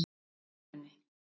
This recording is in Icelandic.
Skeifunni